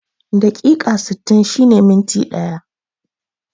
Dakika sittin shine minti ɗaya